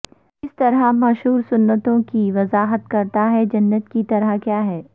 کس طرح مشہور سنتوں کی وضاحت کرتا ہے جنت کی طرح کیا ہے